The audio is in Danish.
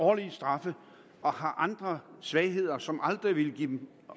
høje straffe og har andre svagheder som aldrig ville give dem